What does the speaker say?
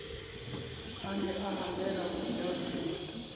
a ne a hanela monyaduwa